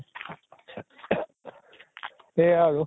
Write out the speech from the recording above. সেয়া আৰু